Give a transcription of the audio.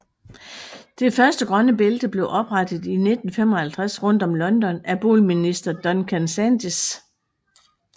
Det første grønne bælte blev oprettet i 1955 rundt om London af boligminister Duncan Sandys